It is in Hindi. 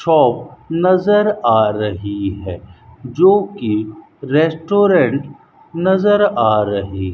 शॉप नजर आ रही है जो कि रेस्टोरेंट नजर आ रही --